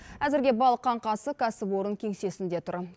әзірге балық қаңқасы кәсіпорын кеңсесінде тұр